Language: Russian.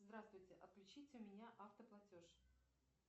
здравствуйте отключите у меня автоплатеж